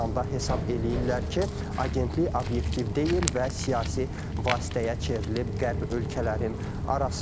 İranda hesab eləyirlər ki, agentlik obyektiv deyil və siyasi vasitəyə çevrilib Qərb ölkələrin arasında.